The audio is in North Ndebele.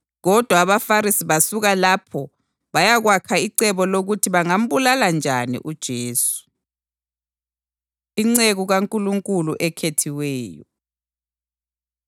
Kodwa abaFarisi basuka lapho bayakwakha icebo lokuthi bangambulala njani uJesu. Inceku KaNkulunkulu Ekhethiweyo